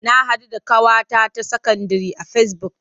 Na haɗu da ƙawata ta sakandire a fesibuk.